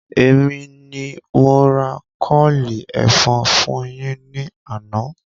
Èmi ni mo ra kọ́ọ̀lì ẹ̀fọn fún yín ní àná